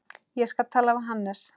Ég skal tala við Hannes.